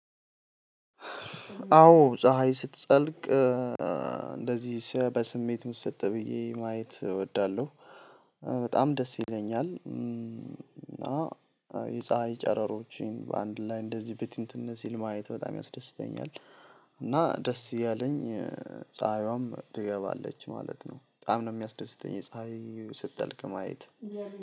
አዎ ፀሀይ ስትጠልቅ እንደዚህ በስሜትም ምስጥ ብዬ ማየት እወዳለሁ። በጣም ደስ ይለኛል እና የፀሀይ ጨረሮችን በአንድ ላይ እንደዚህ ብትንትን ሲል ማየት በጣም ያስደስተኛል። እና ደስ እያለኝ ፀሀይዋም ትገባለች ማለት ነው። በጣም ነው የሚያስደስተኝ የፀሀይ ስትጠልቅ ማየት።